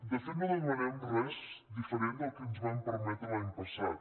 de fet no demanem res diferent del que ens van permetre l’any passat